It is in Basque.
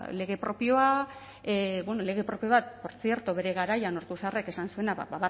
lege propioa bueno lege propio bat portzierto bere garaian ortuzarrek esan zuena ba